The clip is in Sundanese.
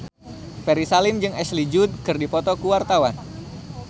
Ferry Salim jeung Ashley Judd keur dipoto ku wartawan